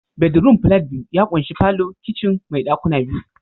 Bedroom flat biyu ya ƙunshi falo, kicin mai ɗakuna biyu